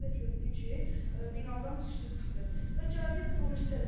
Bir də gördük ki, binadan düşdü çıxdı və gəldik bu birisi tərəfə.